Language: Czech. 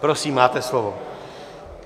Prosím, máte slovo.